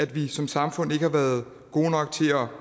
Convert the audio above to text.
vi som samfund ikke har været gode nok til at